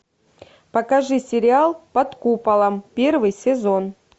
покажи сериал под куполом первый сезон